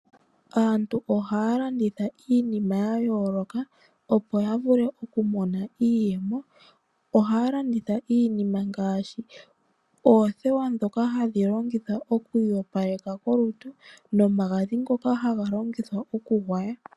Aantu ohaya landitha iinima ya yooloka opo ya vule okumona iiyemo, ohaya landitha iinima ngashi oothewa ndhoka hadhi longithwa oku iyopaleka kolutu nomagadhi ngoka hago longithwa okugwaya.